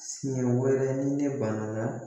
Siɲɛ wɛrɛ ni ne banana